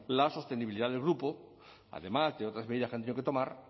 la sostenibilidad del grupo además de otras medidas que han tenido que tomar